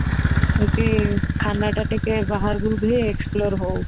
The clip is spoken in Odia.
ତାକି ଖାନାଟା ଟିକେ ବାହାରକୁ ବି ଟିଇକେ explore ହଉ